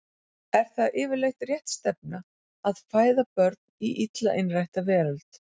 Er það yfirleitt rétt stefna að fæða börn í illa innrætta veröld?